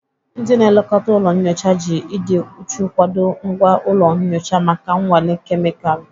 Ndị na-elekọta ụlọ nyocha ji ịdị uchu kwadoo ngwa ụlọ nyocha maka nnwale kemịkalụ.